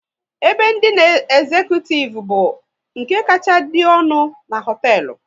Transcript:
Ebe ndina ezecutivu bụ nke kacha dị ọnụ na hoteelu